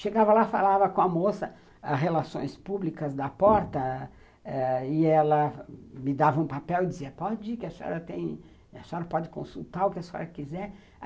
Chegava lá, falava com a moça as relações públicas da porta ãh, e ela me dava um papel e dizia, pode ir, a senhora pode consultar o que a senhora quiser.